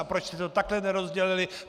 A proč jste to takhle nerozdělili?